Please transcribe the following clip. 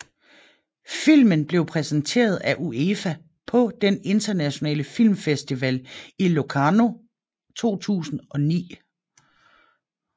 Filmen blev præsenteret af UEFA på den Internationale Filmfestival i Locarno 2009